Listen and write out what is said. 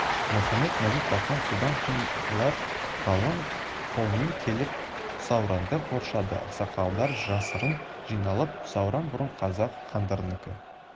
мұхамед-мазит-тархан содан кейін олар қалың қолмен келіп сауранды қоршады ақсақалдар жасырын жиналып сауран бұрын қазақ хандарынікі